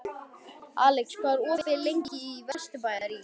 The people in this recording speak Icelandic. Alex, hvað er lengi opið í Vesturbæjarís?